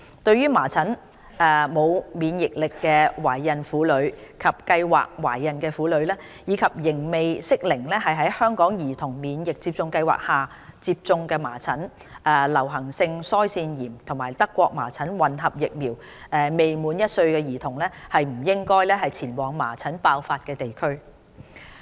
對麻疹沒有免疫力的懷孕婦女及計劃懷孕的婦女，以及仍未適齡在香港兒童免疫接種計劃下接種"麻疹、流行性腮腺炎及德國麻疹混合疫苗"的未滿1歲兒童，均不應前往麻疹爆發地區。